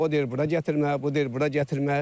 O deyir bura gətirmə, bu deyir bura gətirmə.